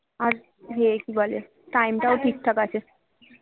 আর ইয়ে কি বলে time টাও ঠিক ঠাক আছে